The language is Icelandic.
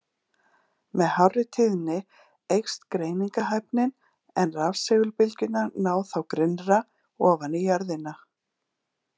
Með hárri tíðni eykst greiningarhæfnin, en rafsegulbylgjurnar ná þá grynnra ofan í jörðina.